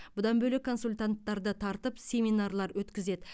бұдан бөлек консультанттарды тартып семинарлар өткізеді